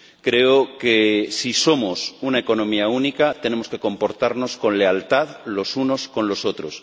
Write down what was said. Creo que, si somos una economía única, tenemos que comportarnos con lealtad los unos con los otros.